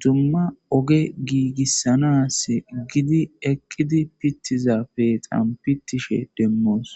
duma ogge gigisanasi eqidi pitishe deyosona.